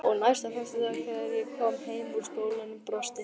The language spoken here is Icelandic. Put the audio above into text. Og næsta föstudag þegar ég kom heim úr skólanum brosti